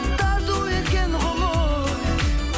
тарту еткен ғұмыр